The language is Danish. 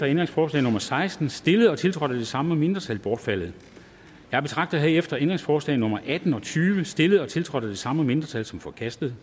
ændringsforslag nummer seksten stillet og tiltrådt af de samme mindretal bortfaldet jeg betragter herefter ændringsforslag nummer atten og tyve stillet og tiltrådt af de samme mindretal som forkastet